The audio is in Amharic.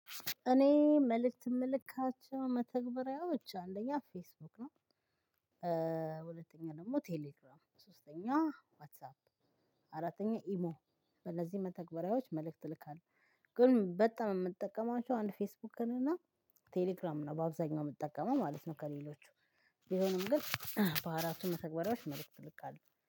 እኔ መልእክት የምልካቸው መተግበሪያዎች አንደኛ ፌስቡክ ነው። ሁለተኛ ደግሞ ቴሌግራም ሶስተኛ ዋትሳፕ አራተኛ ኢሞ። ለዚህ መተግበሪያዎች መልእክት ልካለህ ግን በጣም የምትጠቀማቸው አንድ ፌስቡክ ነን እና ቴሌግራም ነው በአብዛኛው የምትጠቀመው ማለት ነው። ከሌሎቹ የሆነው ግን። በአራቱ መተግበሪያዎች መልእክት እልካለው